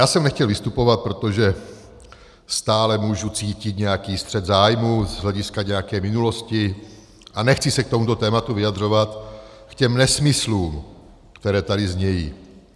Já jsem nechtěl vystupovat, protože stále můžu cítit nějaký střet zájmů z hlediska nějaké minulosti a nechci se k tomuto tématu vyjadřovat, k těm nesmyslům, které tady znějí.